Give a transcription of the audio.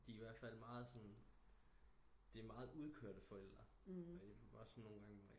De er i hvert fald meget sådan det er meget udkørte forældre